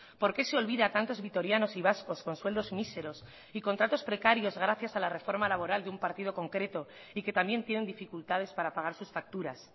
por qué se olvida a tantos vitorianos y vascos con sueldos míseros y contratos precarios gracias a la reforma laboral de un partido concreto y que también tienen dificultades para pagar sus facturas